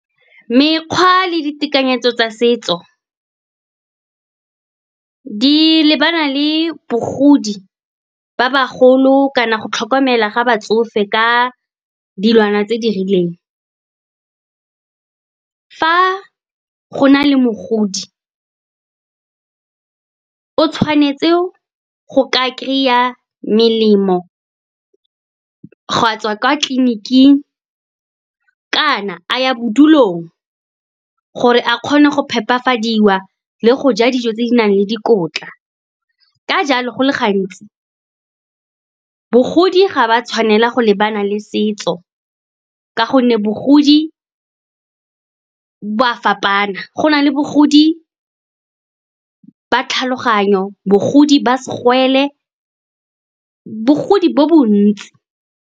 Mekgwa le ditekanyetso tsa setso di lebana le bogodi ba bagolo kana go tlhokomela ga batsofe ka dilwana tse di rileng. Fa go na le mogodi, o tshwanetse go ka kry-a melemo, ga a tswa kwa tleliniking kana a ya bodulong, gore a kgone go phepafadiwa le go ja dijo tse di nang le dikotla. Ka jalo, go le gantsi, bogodi ga ba tshwanela go lebana le setso, ka gonne bogodi bo a fapana. Go na le bagodi ba tlhaloganyo, bagodi ba segwele, bogodi bo bontsi.